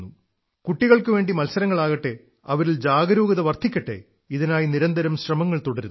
കുട്ടികൾക്കുവേണ്ടി മത്സരങ്ങളാകട്ടെ അവരിൽ ജാഗരൂകത വർധിക്കട്ടെ ഇതിനായി നിരന്തരം ശ്രമങ്ങൾ തുടരുന്നു